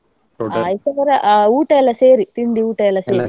ಊಟ ಎಲ್ಲಾ ಸೇರಿ, ತಿಂಡಿ ಊಟ ಎಲ್ಲಾ ?